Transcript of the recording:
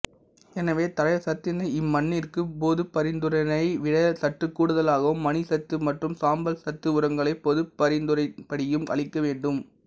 எனவே தழைச்சத்தினை இம்மண்ணிற்கு பொதுப்பரிந்துரையினை விட சற்றுக் கூடுதலாகவும் மணிச்சத்து மற்றும் சாம்பல் சத்து உரங்களை பொதுப்பரிந்துரையின்படியும் அளிக்க வேண்டும்